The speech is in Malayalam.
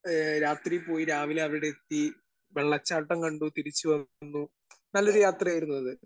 സ്പീക്കർ 1 ഏ രാത്രി പോയി രാവിലെ അവിടെ എത്തി. വെള്ളച്ചാട്ടം കണ്ടു തിരിച്ചു വന്നു. നല്ലൊരു യാത്രയായിരുന്നു അത്.